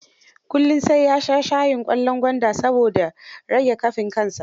Kullum sai ya sha shayin ƙwallon gwanda, saboda riga kafin kansa.